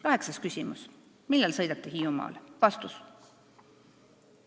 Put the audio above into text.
Kaheksas küsimus: millal sõidate Hiiumaale?